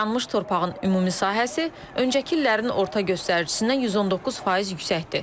Yanmış torpağın ümumi sahəsi öncəki illərin orta göstəricisindən 119% yüksəkdir.